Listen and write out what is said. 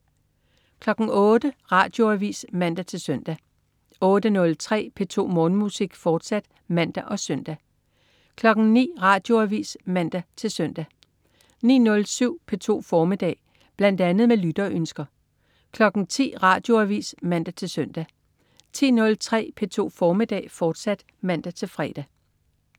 08.00 Radioavis (man-søn) 08.03 P2 Morgenmusik, fortsat (man og søn) 09.00 Radioavis (man-søn) 09.07 P2 formiddag. Bl.a. med lytterønsker 10.00 Radioavis (man-søn) 10.03 P2 formiddag, fortsat (man-fre)